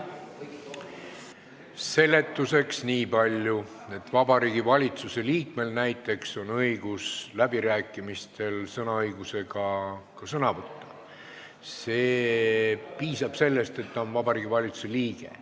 Seletuseks nii palju, et Vabariigi Valitsuse liikmel on näiteks õigus ka läbirääkimistel sõna võtta – piisab sellest, et ta on Vabariigi Valitsuse liige.